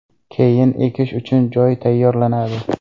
Keyin ekish uchun joy tayyorlanadi.